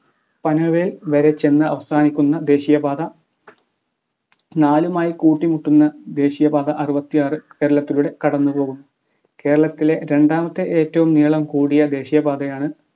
പനവേൽ വരെ ചെന്ന് അവസാനിക്കുന്ന ദേശീയപാത നാലുമായി കൂട്ടിമുട്ടുന്ന ദേശീയപാത അറുപത്തി ആർ കേരളത്തിലൂടെ കടന്നു പോകുന്നു. കേരളത്തിലെ രണ്ടാമത്തെ ഏറ്റവും നീളം കൂടിയ ദേശീയപാതയാണ്‌